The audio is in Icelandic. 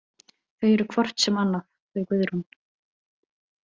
Þau eru hvort sem annað, þau Guðrún.